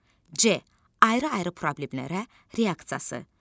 C ayrı-ayrı problemlərə reaksiyası.